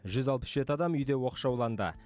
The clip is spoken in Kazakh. жүз алпыс жеті адам үйде оқшауланды